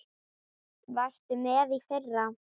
Varstu með í fyrra?